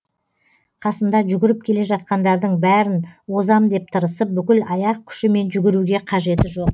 қасында жүгіріп келе жатқандардың бәрін озам деп тырысып бүкіл аяқ күшімен жүгіруге қажеті жоқ